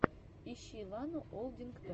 ищи лану олдингтон